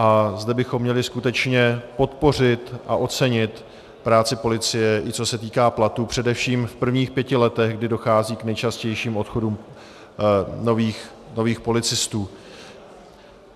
A zde bychom měli skutečně podpořit a ocenit práci policie, i co se týká platů především v prvních pěti letech, kdy dochází k nejčastějším odchodům nových policistů.